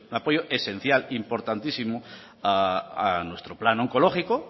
apoyo esencial importantísimo a nuestro plan oncológico